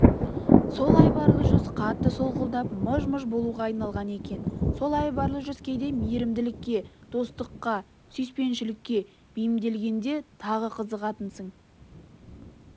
сол айбарлы жүз қатты солғындап мыж-мыж болуға айналған екен сол айбарлы жүз кейде мейірімділікке достыққа сүйіспеншілікке бейімделгенде тағы қызығатынсың